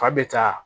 Fa bɛ taa